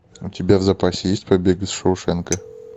у тебя в запасе есть побег из шоушенка